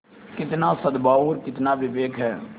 कितना सदभाव और कितना विवेक है